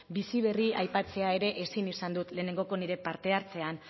bizi berri aipatzea ere ezin izan dut lehenengoko nire parte hartzean